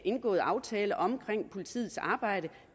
indgåede aftale om politiets arbejde